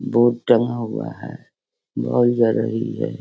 Board टँगा हुआ है। बौल जल रही है।